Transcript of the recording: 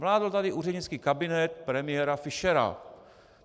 Vládl tady úřednický kabinet premiéra Fischera.